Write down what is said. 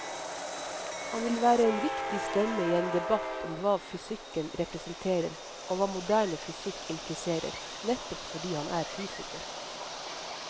Han vil være en viktig stemme i en debatt om hva fysikken representerer og hva moderne fysikk impliserer, nettopp fordi han er fysiker.